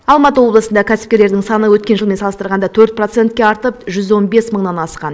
алматы облысында кәсіпкерлердің саны өткен жылмен салыстырғанда төрт процентке артып жүз он бес мыңнан асқан